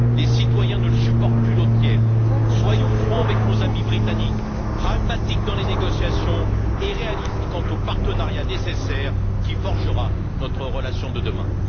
Les citoyens ne supportent plus l'eau tiède. Soyons francs avec nos amis britanniques, pragmatiques dans les négociations et réalistes quant au partenariat nécessaire qui forgera notre relation de demain.